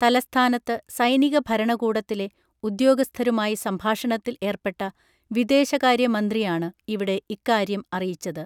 തലസ്ഥാനത്ത് സൈനിക ഭരണകൂടത്തിലെ ഉദ്യോഗസ്ഥരുമായി സംഭാഷണത്തിൽ ഏർപ്പെട്ട വിദേശകാര്യമന്ത്രിയാണ് ഇവിടെ ഇക്കാര്യം അറിയിച്ചത്